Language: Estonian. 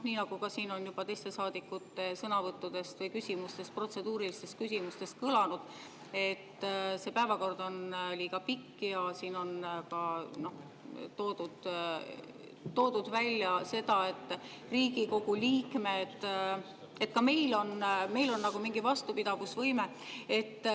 Nii nagu siin on juba teiste saadikute sõnavõttudest või protseduurilistest küsimustest kõlanud, see päevakord on liiga pikk, ja siin on toodud välja ka seda, et meil, Riigikogu liikmetel on mingi vastupidavusvõime.